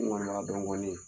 N kɔni b'a dɔn kɔni